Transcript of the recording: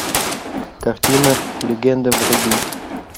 картина легенда вруби